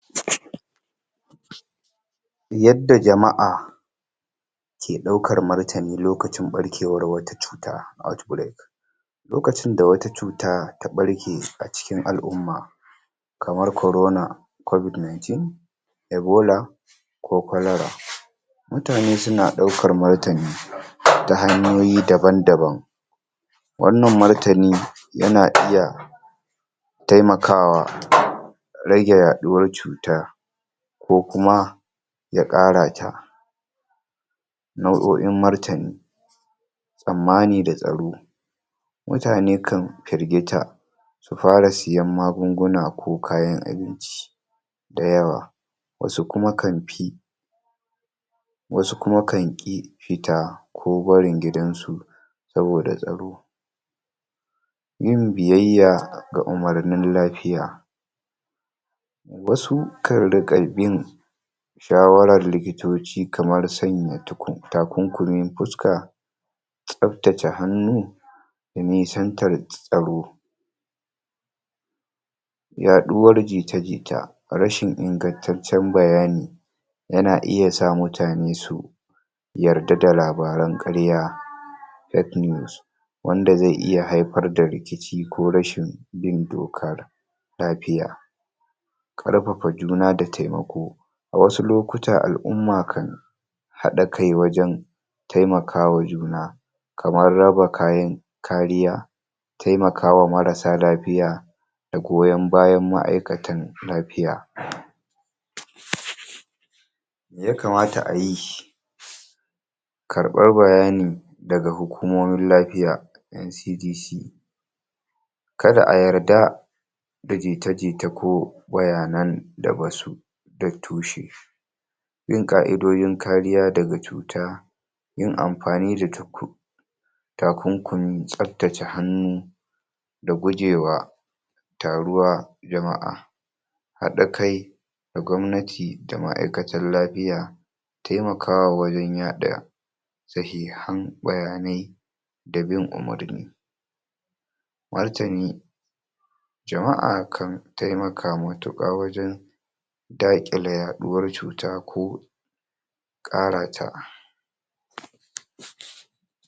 Yadda jama'a ke ɗaukar martani lokacin wata cuta outbreak. Lokacin da wata cuta ta ɓarke a cikin al'umma kamar Corona COVID-19 Ebola, ko Cholera, mutane suna ɗaukan martani ta hanyoyi daban-daban. Wannan martani yana iya taimakawa rage yaɗuwar cuta ko kuma ya ƙara ta. Na'o'in martani, tsammani da tsaro, mutane kan firgita su fara siyan kayan magunguna ko kayan abinci da yawa wasu kuma kan fi wasu kuma kan ƙi fita, ko barin gidansu, saboda tsaro. Yin biyayya ga umarnin lafiya wasu kan riƙa bin shawarar likitoci kamar sanya tukun takunkumin fuska, tsabtace hannu, da nisantar tsaro. Yaɗuwar jita-jita, rashin ingantattun bayani yana iya sa mutane su yarda da labaran ƙarya, wanda zai iya haifar da rikici ko rashin bin dokar lafiya. Ƙarfafa juna da taimako, wasu lokuta al'umma kan haɗa kai wajen taimakawa juna kamar raba kayan kariya, taimakawa marasa lafiya, da goyon bayan ma'aikatan lafiya. Me ya kamata ayi karɓar bayani daga hukumomin lafiya NCDC. Kada a yarda, aji ita-jita ko bayanan da basu da tushe. Bin ka'idodin kariya daga cuta yin amfani da takunkumi, tsabtace hannu, da gujewa, taruwar jama'a haɗa kai da gwamnati da ma'aikatar lafiya taimakawa wajen yaɗa sahihan bayanai da bin umarni, martani jama'a kan taimaka matuƙa wajen daƙile yaɗuwar cuta ko ƙarata.